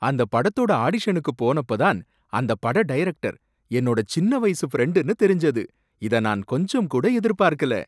அந்த படத்தோட ஆடிஷனுக்கு போனப்ப தான் அந்த பட டைரக்டர் என்னோட சின்ன வயசு ஃப்ரெண்டுனு தெரிஞ்சது, இத நான் கொஞ்சம் கூட எதிர்ப்பார்க்கல.